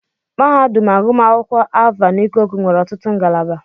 Mahadum agụmakwụkwọ Alvan Ikoku nwere ọtụtụ ngalaba.